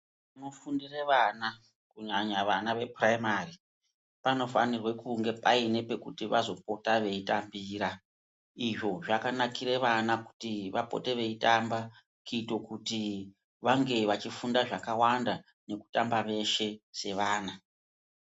Nofundire vana kunyanya vana vepuraimari panofanirwe kunge paine pekuti vazopota veitambira izvo zvakanakira vana kuti vapote veitamba kuite kuti vange vachifunda zvakakwanada nekutamba veshe sevana.